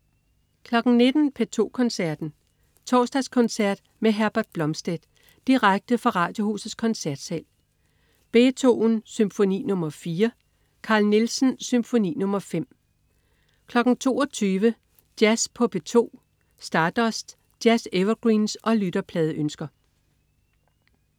19.00 P2 Koncerten. Torsdagskoncert med Herbert Blomstedt. Direkte fra Radiohusets Koncertsal. Beethoven: Symfoni nr. 4. Carl Nielsen: Symfoni nr. 5 22.00 Jazz på P2. Stardust. Jazz-evergreens og lytterpladeønsker